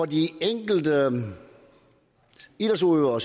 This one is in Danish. de enkelte idrætsudøvere